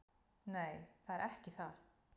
"""Nei, það er ekki það."""